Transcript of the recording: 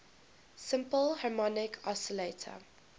simple harmonic oscillator